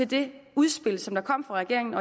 det udspil som kom fra regeringen